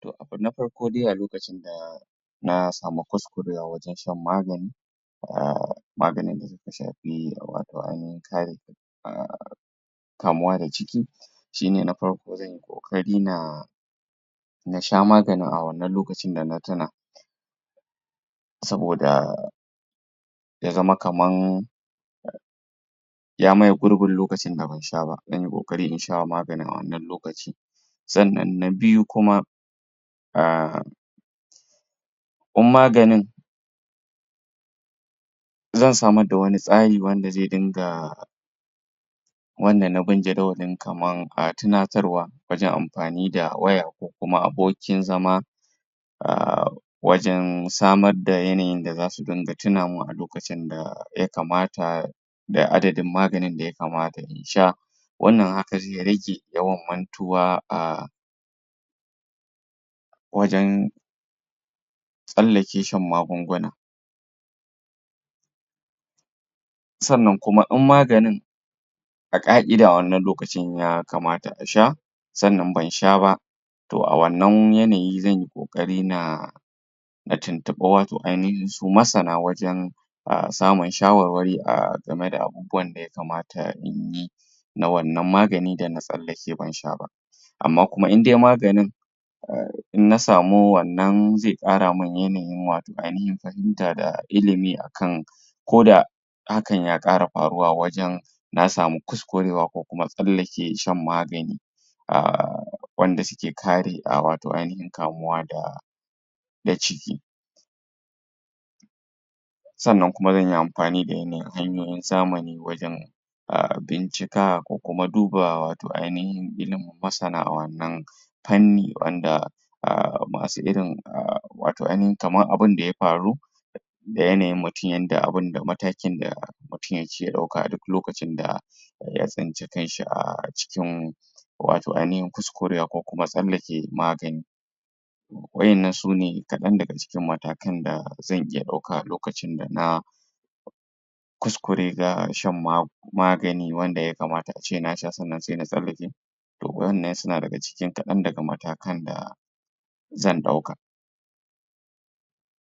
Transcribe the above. To abu na farko dai a lokacin da na samu fuskar yalwataccen magani maganin da suka shafi ainifin kare um kamuwa da jiki shi ne na farko zan yi ƙoƙari na na sha maganin a wannan lokacin da na tuna saboda ya zama kamar ya maye gurbin lokacin da ban sha ba, zan yi ƙoƙari in sha maganin a wannan lokacin sannan na biyu kuma um in maganin zan samar da wani tsari wanda zai dinga wanda na bin jadawalin kamar tunatarwa wajen amfani da waya ko abokin zama um wajen samar da yanayin da za su dinga tunamin a lokacin da ya kamata da adadin maganin da ya kamata in sha wannan haka zai rage yawan mantuwa a wajen tsallake shan magunguna. sannan kuma in maganin a ƙa'ida a wannan lokacin ya kamata a sha, sannan ban sha ba. to a wannan yanayin zan yi ƙoƙari na na tuntuɓi wato ainahin su masana wajen samun shawarwari game da abubuwan da ya kamata in yi na wannan magani da na tsallake ban sha ba. amma kuma in dai maganin in na samu wannnan zai ƙara man yanayinwato ainahin fahimta da ilimi a kan ko da hakan ya ƙara faruwa wajen na samu kuskurwa ko kuma tsallake shan magani um wanda suke kare wato ainihin kamuwa da da jiki. Sannan kuma zan yi amfani da yanayin hanyoyin zamani wajen bincika ko kuma duba wato ainihin ginin masana a wannan fanni wanda masu irin wato ainihin kamar abunda ya faru da yanayin mutum yanda abinda matakin da mutum yake ɗauka a duk lokacin da ya tsainci kanshi a cikin wato ainihin kuskurewa ko kuma tsallake magani. Waɗannan sune kaɗan daga cikin matakan da zan iya ɗauka a lokacin da na kuskure ga shan magani magani wanda ya kamata a ce na sha sannan sai na tsallake to wannan suna daga cikin kaɗan daga matakan da zan ɗauka.